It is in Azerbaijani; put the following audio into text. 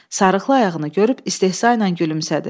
Sarığlı ayağını görüb istehzayla gülümsədi.